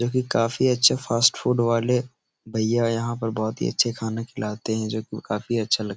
जो कि काफी अच्छे फ़ास्ट फ़ूड वाले भैया यहाँ पर बोहोत ही अच्छा खाना खिलते हैं जो कि काफी अच्छा लगता --